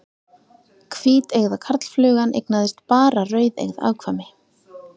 Hvíteygða karlflugan eignaðist bara rauðeygð afkvæmi.